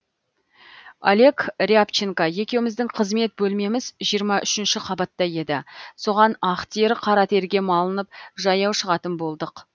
олег рябченко екеуміздің қызмет бөлмеміз жиырма үшінші қабатта еді соған ақ тер қара терге малынып жаяу шығатын болдық